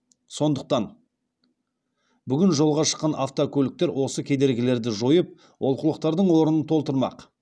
сондықтан бүгін жолға шыққан автокөліктер осы кедергілерді жойып олқылықтардың орнын толтырмақ